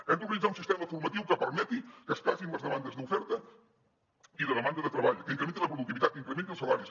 hem d’organitzar un sistema formatiu que permeti que es casin les demandes d’oferta i de demanda de treball que incrementi la productivitat que incrementi els salaris